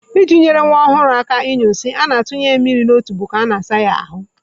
I ji nyere nwa ọhụrụ aka ịnyụ nsị, a na-atụnye ya mmiri n'otubo ka a na-asa ya ahụ.